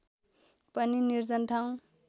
पनि निर्जन ठाउँ